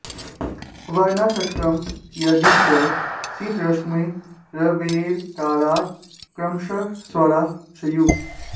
वर्णाष्टकं यादि च शीतरश्मे रवेरकारात् क्रमशः स्वराः स्युः